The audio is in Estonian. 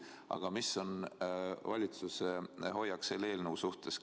Aga mis on valitsuse hoiak selle eelnõu suhtes?